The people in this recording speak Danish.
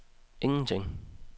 ingenting